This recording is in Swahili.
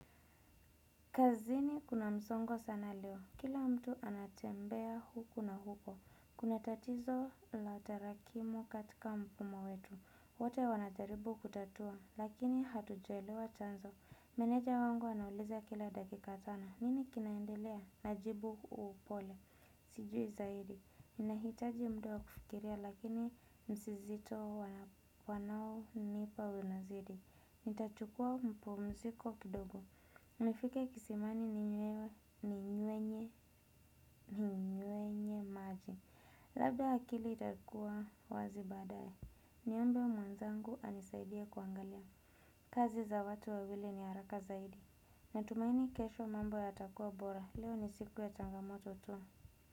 Kazini kuna msongo sana leo. Kila mtu anatembea huku na huko. Kuna tatizo la tarakimu katika mfumo wetu. Wote wanajaribu kutatua, lakini hatujaelewa chanzo. Meneja wangu anauliza kila dakika sana. Nini kinaendelea? Najibu upole. Sijui zaidi. Ninahitaji muda wa kufikiria, lakini msizito wanaonipa unazidi. Nitachukua mapumziko kidogo. Nifike kisimani ninywenye, ninywenye maji. Labda akili itakua wazi baadaye. Niombe mwenzangu anisaidia kuangalia. Kazi za watu wawili ni haraka zaidi. Natumaini kesho mambo yatakuwa bora. Leo ni siku ya changamoto tu.